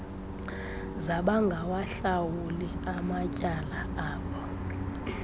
zabangawahlawuli amatyala abo